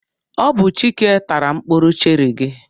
Ọ bụ Chike tara mkpụrụ cherị gị.